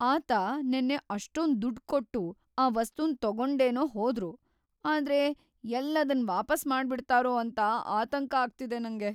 ಆತ ನೆನ್ನೆ ಅಷ್ಟೊಂದ್‌ ದುಡ್ಡ್‌ ಕೊಟ್ಟು ಆ ವಸ್ತುನ್‌ ತಗೊಂಡೇನೋ ಹೋದ್ರು ಆದ್ರೆ ಎಲ್ಲ್‌ ಅದನ್‌ ವಾಪಸ್‌ ಮಾಡ್ಬಿಡ್ತಾರೋ ಅಂತ ಆತಂಕ ಆಗ್ತಿದೆ ನಂಗೆ.